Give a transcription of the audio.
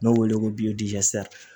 N'o wele ko